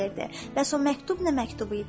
Bəs o məktub nə məktubu idi?